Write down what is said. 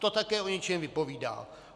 To také o něčem vypovídá.